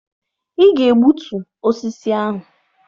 Ị ga-egbutu osisi ahụ!